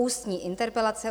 Ústní interpelace